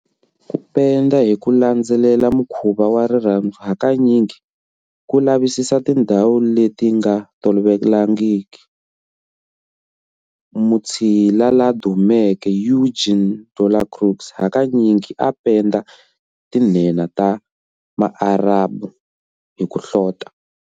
Ku penda hi ku landzelela mukhuva wa rirhandzu hakanyingi ku lavisisa tindhawu leti nga tolovelekangiki. Mutshila la dumeke Eugène Delacroix hakanyingi a a penda tinhenha ta Maarabu ni ku hlota.